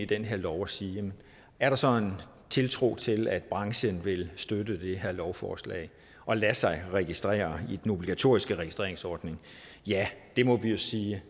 den her lov og sige er der så en tiltro til at branchen vil støtte det her lovforslag og lade sig registrere i den obligatoriske registreringsordning det må vi jo sige